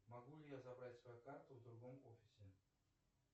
могу ли я забрать свою карту в другом офисе